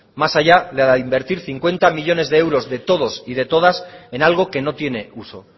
más allá de la de invertir cincuenta millónes de euros de todos y de todas en algo que no tiene uso